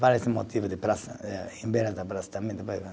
Vários motivo de praça eh, em beira da praça também.